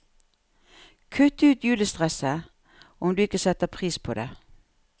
Kutt ut julestresset, om du ikke setter pris på det.